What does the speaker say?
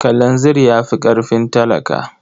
Kalanzir ya fi ƙarfin talaka.